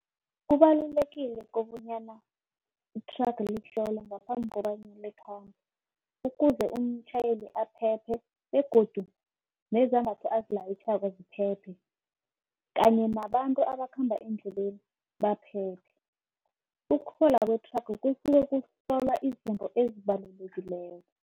Kubalulekile kobanyana ithraga lihlolwe ngaphambi kobanyana likhambe. Ukuze umtjhayeli aphephe begodu nezambatho azilayitjhako ziphephe. Kanye nabantu abakhamba endleleni baphephe. kwethraga kusuke kuhlolwa izinto ezibalulekileko.